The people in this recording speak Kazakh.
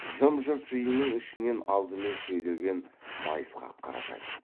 жым жырт жиынның ішінен алдымен сөйлеген майысқақ қаратай